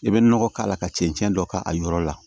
I bɛ nɔgɔ k'a la ka cɛncɛn dɔ k'a yɔrɔ la